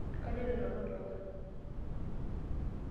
Kaloito nanu olduka.